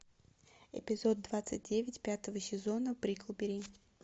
эпизод двадцать девять пятого сезона бриклберри